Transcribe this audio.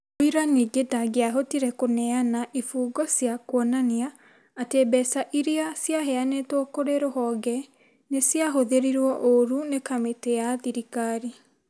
Mũira ningĩ ndangĩahotire kũnea a ibũngo cĩa kuonania atĩ mbeca ĩrĩa ciaheanĩtwo kũrĩ rũhonge nĩ ciahothĩrĩruo ũũru nĩ kamĩtĩ ya thirikari.